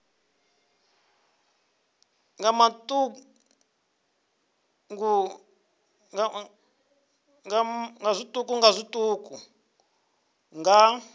nga matuku nga matuku nga